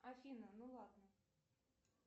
афина ну ладно